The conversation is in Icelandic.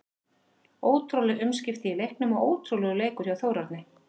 Ótrúleg umskipti í leiknum og ótrúlegur leikur hjá Þórarni.